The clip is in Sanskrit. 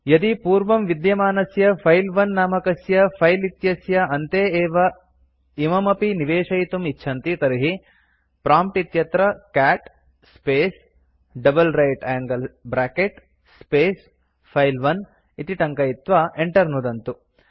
यदि पूर्वं विद्यमानस्य फिले 1 नामकस्य फिले इत्यस्य अन्ते एव इममपि निवेशयितुं इच्छन्ति तर्हि प्रॉम्प्ट् इत्यत्र cat space double right angle bracket space file 1 इति टङ्कयित्वा enter नुदन्तु